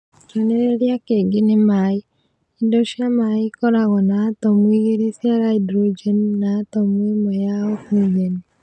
Kĩonereria kĩngĩ nĩ maĩ. indo cia maĩ ikoragwo na atomu igĩrĩ cia hydrogeni na atomu ĩmwe ya oxygeni.